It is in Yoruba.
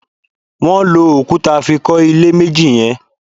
Wọn lò òkúta fí kọ ilé méjì yẹn